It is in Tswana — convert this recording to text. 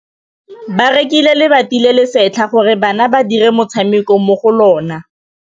Ba rekile lebati le le setlha gore bana ba dire motshameko mo go lona.